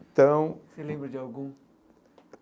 Então... Você lembra de algum?